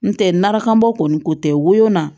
N tɛ narakanbɔ kɔni ko tɛ wo na